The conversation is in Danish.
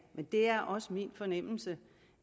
men det er også min fornemmelse